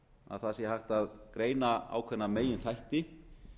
að hægt sé að greina ákveðna meginþætti